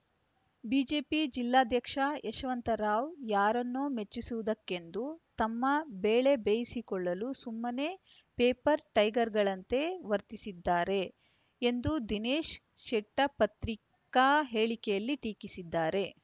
BJP ಜಿಲ್ಲಾಧ್ಯಕ್ಷ ಯಶವಂತರಾವ್‌ ಯಾರನ್ನೋ ಮೆಚ್ಚಿಸುವುದಕ್ಕೆಂದು ತಮ್ಮ ಬೇಳೆ ಬೇಯಿಸಿಕೊಳ್ಳಲು ಸುಮ್ಮನೇ ಪೇಪರ್‌ ಟೈಗರ್‌ಗಳಂತೆ ವರ್ತಿಸುತ್ತಿದ್ದಾರೆ ಎಂದು ದಿನೇಶ್‌ ಶೆಟ್ಟಿಪತ್ರಿಕಾ ಹೇಳಿಕೆಯಲ್ಲಿ ಟೀಕಿಸಿದ್ದಾರೆ